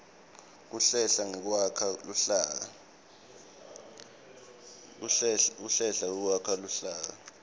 kuhlela nekwakha luhlaka